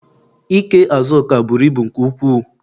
Ikee Azuka buru ibu nke ukwuu